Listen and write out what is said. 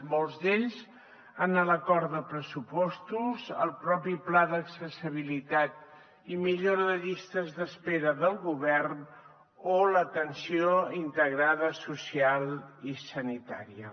molts d’ells en l’acord de pressupostos el propi pla d’accessibilitat i millora de llistes d’espera del govern o l’atenció integrada social i sanitària